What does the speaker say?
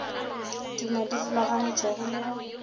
tuma di rulagantšwego le go